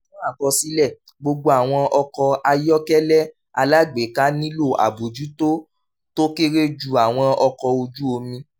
fún àkọsílẹ̀: gbogbo àwọn ọkọ̀ ayọ́kẹ́lẹ́ alágbèéká nílò àbójútó tó kéré ju àwọn ọkọ̀ ojú omi